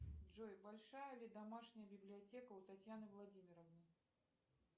джой большая ли домашняя библиотека у татьяны владимировны